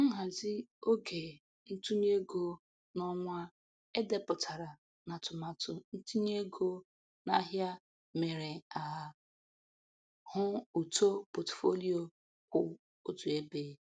Nhazi oge ntụnye ego n'ọnwa e depụtara n'atụmatụ ntinye ego n'ahịa mere a hụ uto potfolio kwụ otu ebe.